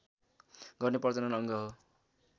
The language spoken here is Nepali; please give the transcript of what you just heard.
गर्ने प्रजनन अङ्ग हो